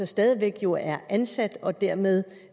stadig væk jo er ansat og dermed